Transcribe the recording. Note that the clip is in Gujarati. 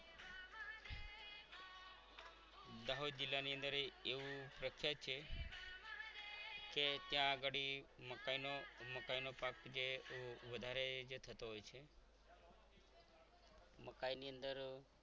દાહોદ જિલ્લાની અંદર એવો પ્રખ્યાત છે કે ત્યાં ઘડી મકાઈનો મકાઈનો પાક જે વધારે થતો હોય છે મકાઈની અંદર